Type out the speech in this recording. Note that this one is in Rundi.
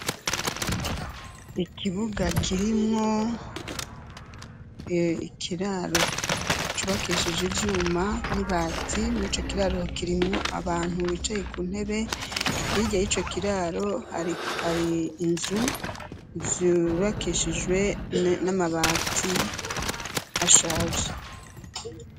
Ikibuga kirimwo ikiraro cubakishije ivyuma n'ibati mur'ico kiraro kirimwo abantu bicaye ku ntebe, hirya yico kiraro hari inzu zubakishijwe n'amabati ashaje.